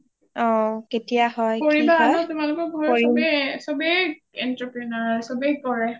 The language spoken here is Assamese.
কৰিবা আকৌ তোমালোকৰ ঘৰ চবেই entrepreneur চবেই কৰে